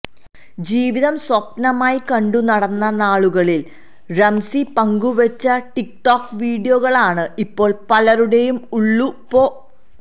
ജീവിതം സ്വപ്നമായി കണ്ടു നടന്ന നാളുകളിൽ റംസി പങ്കുവച്ച ടിക് ടോക് വിഡിയോകളാണ് ഇപ്പോൾ പലരുടെയും ഉള്ളു പൊ